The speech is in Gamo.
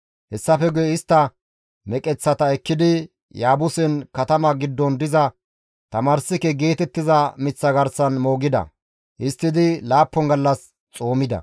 Hessafe guye istta meqeththata ekkidi Yaabusen katama giddon diza Tamarssike geetettiza miththa garsan moogida; histtidi laappun gallas xoomida.